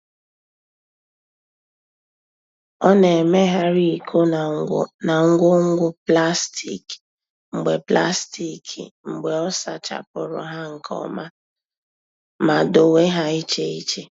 Ọ na-emegharị iko na ngwo ngwo plastik mgbe plastik mgbe ọ sachapụrụ ha nke ọma ma dowe ha iche iche.